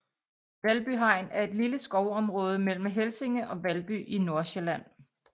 Valby Hegn er et lille skovområde mellem Helsinge og Valby i Nordsjælland